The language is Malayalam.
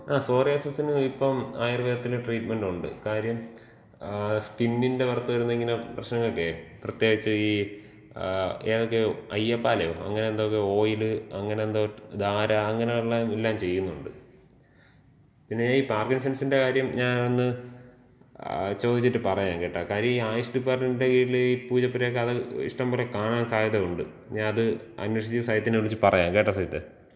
ആ സോറിയാസിന് ഇപ്പം ആയുർവേദത്തില് ട്രീറ്റ്മെന്‍റുണ്ട്. കാര്യം സ്കിന്നിന്‍റെ പൊറത്ത് വരുന്ന ഇങ്ങനെ പ്രശ്നങ്ങൾക്കേ, പ്രത്യേകിച്ച് ഈ ഏതൊക്കെയോ, അയ്യപ്പാലയോ അങ്ങനെ എന്തൊക്കെയോ ഓയില്, അങ്ങനെ എന്തോ ധാരാ അങ്ങനെയുള്ള എല്ലാം ചെയ്യുന്നുണ്ട്. പിന്നെ ഈ പാർക്കിൻസെൻസിന്‍റെ കാര്യം ഞാ ഒന്ന്, ചോദിച്ചിട്ട് പറയാം കേട്ടോ. കാര്യം ഈ ആയുഷ് ഡിപ്പാട്ട്മെന്‍റിന്‍റെ കീഴില് ഈ പൂജപ്പുരൊക്കെ അത് ഇഷ്ടം പോലെ കാണാൻ സാധ്യത ഒണ്ട്. ഞാ അത് അന്വേഷിച്ച് സജിത്തിനെ വിളിച്ച് പറയാം. കേട്ടോ സജിത്തേ.